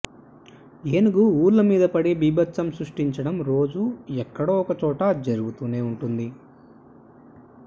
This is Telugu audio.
ఏనుగు ఊళ్ల మీద పడి బీభత్సం సృష్టించడం రోజూ ఎక్కడో ఒక చోట జరుగుతూనే ఉంటుంది